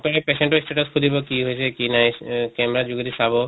ৰে patient ৰ status সুধিব কি হৈছে কি নাই এহ camera ৰ যোগেদি চাব